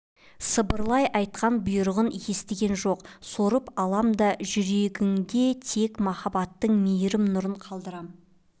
сыбырлай айтқан бұйрығын естіген жоқ сорып алам да жүрегіңде тек махаббаттың мейірім-нұрын қалдырам